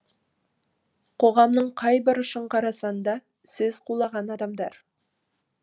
қоғамның қай бұрышын қарасаң да сөз қуалаған адамдар